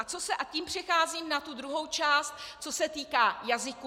A tím přecházím na tu druhou část, co se týká jazyků.